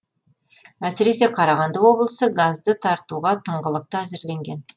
әсіресе қарағанды облысы газды тартуға тыңғылықты әзірленген